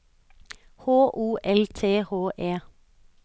H O L T H E